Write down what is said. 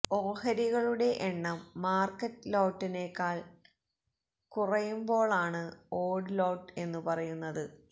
ഓഹരികളുടെ എണ്ണം മാർക്കറ്റ് ലോട്ടിനെക്കാൾ കുറയുപോളാണ് ഓട് ലോട്ട് എന്ന് പറയുന്നത്